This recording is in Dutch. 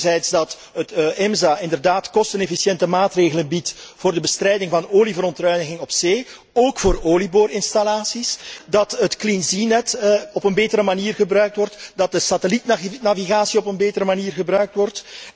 Enerzijds dat het EMSA inderdaad kostenefficiënte maatregelen biedt voor de bestrijding van olieverontreiniging op zee, ook voor olieboorinstallaties, dat het CleanSeaNet op een betere manier gebruikt wordt, dat de satellietnavigatie op een betere manier gebruikt wordt.